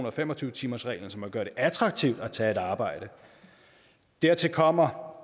og fem og tyve timersreglen altså at man gør det attraktivt at tage et arbejde dertil kommer